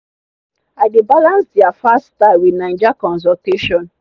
i dey balance their fast style with naija consultation